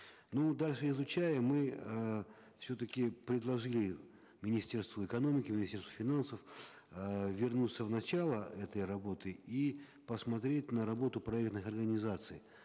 ну дальше изучая мы э все таки предложили министерству экономики министерству финансов э вернуться в начало этой работы и посмотреть на работу проектных организаций